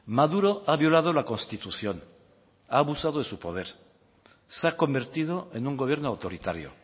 maduro ha violado la constitución ha abusado de su poder se ha convertido en un gobierno autoritario